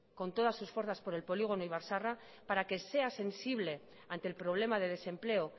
con todas sus fuerzas por el polígono ibar zaharra para que sea sensible ante el problema de desempleo